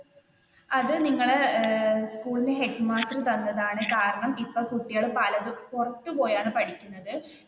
അത് നിങ്ങളുടെ സ്കൂളിന്റെ ഹെഡ് മാസ്റ്റർ തന്നതാണ് കാരണം ഇപ്പൊ കുട്ടികൾ പലതും പുറത്തുപോയാണ്‌ പഠിക്കുന്നത്,